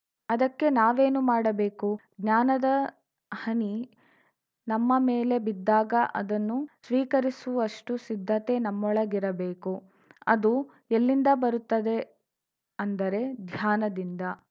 ಅದಕ್ಕೆ ನಾವೇನು ಮಾಡಬೇಕು ಜ್ಞಾನದ ಹನಿ ನಮ್ಮ ಮೇಲೆ ಬಿದ್ದಾಗ ಅದನ್ನು ಸ್ವೀಕರಿಸುವಷ್ಟುಸಿದ್ಧತೆ ನಮ್ಮೊಳಗಿರಬೇಕು ಅದು ಎಲ್ಲಿಂದ ಬರುತ್ತದೆ ಅಂದರೆ ಧ್ಯಾನದಿಂದ